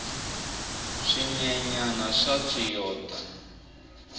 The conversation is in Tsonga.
swinyenyani swa tswiyota